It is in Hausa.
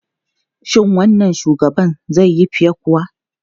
Shin wannan shugaban zai yi fiye kuwa?